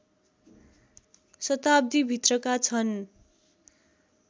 शताब्दीभित्रका छन्